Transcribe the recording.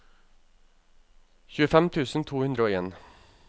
tjuefem tusen to hundre og en